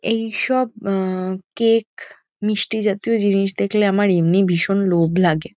এইসব আ কেক মিষ্টি জাতীয় জিনিস দেখলে আমার এমনিই ভীষণ লোভ লাগে।